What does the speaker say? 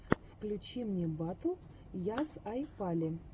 включи мне батл ясйапали